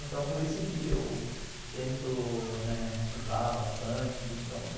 Então por isso que eu tento né estudar bastante.